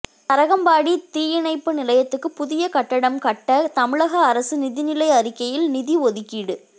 தரங்கம்பாடி தீயணைப்பு நிலையத்துக்கு புதிய கட்டடம் கட்ட தமிழக அரசு நிதிநிலை அறிக்கையில் நிதி ஒதுக்கீடு